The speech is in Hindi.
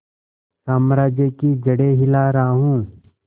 साम्राज्य की जड़ें हिला रहा हूं